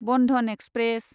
Bandhan express